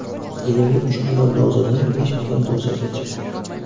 Yiliga uch million dozadan besh million dozagacha.